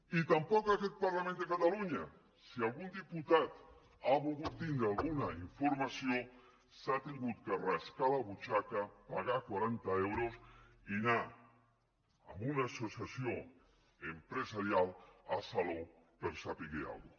ni tampoc aquest parlament de catalunya si algun diputat ha volgut tindre alguna informació s’ha hagut de rascar la butxaca pagar quaranta euros i anar a una associació empresarial a salou per saber alguna cosa